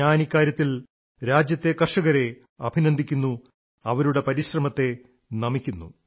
ഞാൻ ഇക്കാര്യത്തിൽ രാജ്യത്തെ കർഷകരെ അഭിനന്ദിക്കുന്നു അവരുടെ പരിശ്രമത്തെ നമിക്കുന്നു